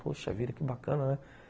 Poxa vida, que bacana, né?